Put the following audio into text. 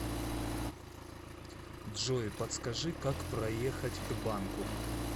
джой подскажи как проехать к банку